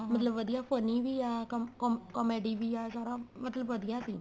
ਹਾਂ ਮਤਲਬ ਵਧੀਆ funny ਵੀ ਆ ਕੰਮ ਕੰਮ comedy ਵੀ ਆ ਸਾਰਾ ਮਤਲਬ ਵਧੀਆ ਸੀ